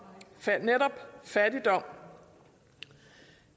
netop fattigdom